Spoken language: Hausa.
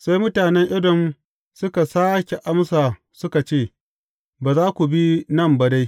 Sai mutanen Edom suka sāke amsa suka ce, Ba za ku bi nan ba dai.